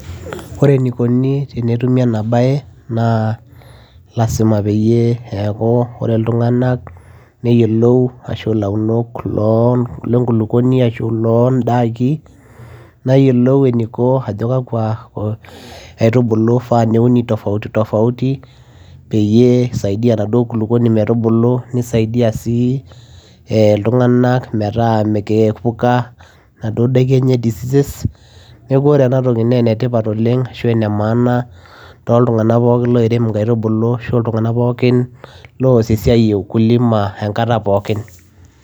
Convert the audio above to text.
ore enikoni tenetumi ena baye naa lasima peyie eeku ore iltung'anak neyiolou ashu ilaunok loo lenkulukuoni ashu iloo ndaki neyiolou eniko ajo kakwa ko aitubulu ifaa neuni tofauti tofauti peyie isaidia enaduo kulukuoni metubulu nisaidia sii eh iltung'anak metaa mekee eiepuka naduo daiki enye diseases neeku ore enatoki naa enetipat oleng ashu ene maana toltung'anak pookin loirem inkaitubulu ashu iltung'anak pookin loos esiai e ukulima enkata pookin.